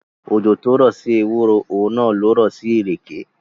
Òjò tó rọ̀ sí ewúro, òun náà lo rọ̀ sí ìrèké.